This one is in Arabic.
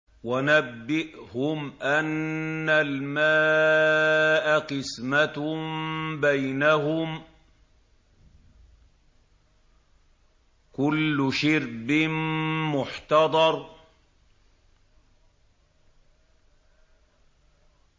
وَنَبِّئْهُمْ أَنَّ الْمَاءَ قِسْمَةٌ بَيْنَهُمْ ۖ كُلُّ شِرْبٍ مُّحْتَضَرٌ